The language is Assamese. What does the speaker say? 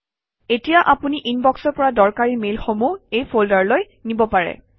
এতিয়া আপুনি ইনবক্সৰ পৰা দৰকাৰী মেইলসমূহ এই ফল্ডাৰলৈ নিব পাৰে